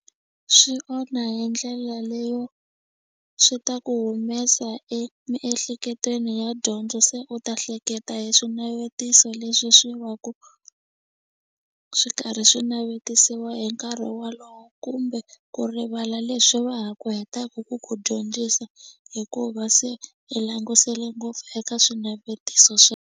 Swi onha hi ndlela leyo swi ta ku humesa emiehleketweni ya dyondzo se u ta hleketa hi swinavetiso leswi swi va ku swi karhi swi navetisiwa hi nkarhi walowo kumbe ku rivala leswi va ha ku hetaku ku ku dyondzisa hikuva se i langusele ngopfu eka swinavetiso .